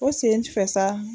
O senfɛ sa